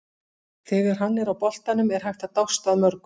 Þegar hann er á boltanum er hægt að dást að mörgu.